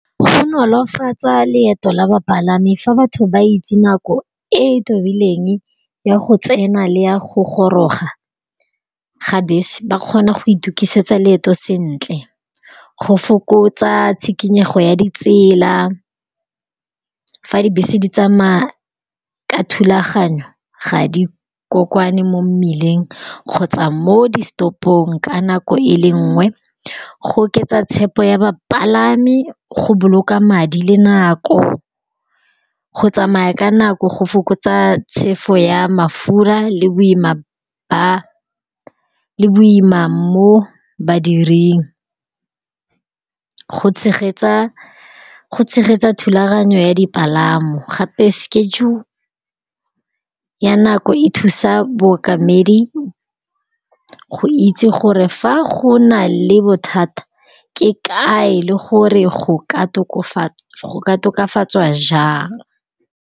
Go nolofatsa leeto la bapalami fa batho ba itse nako e e tumileng ya go tsena le ya go goroga ga bese, ba kgona go itukisetsa leeto sentle. Go fokotsa tshikinyego ya ditsela, fa dibese di tsamaya ka thulaganyo ga di kokwane mo mmileng kgotsa mo di stopong ka nako e le nngwe. Go oketsa tshepo ya bapalami go boloka madi le nako go tsamaya ka nako go fokotsa tshefo ya mafura le boima mo badiring. Go tshegetsa thulaganyo ya dipalamo gape ya nako e thusa bookamedi go itse gore fa go nale bothata ke kae le gore go ka tokafatswa jang.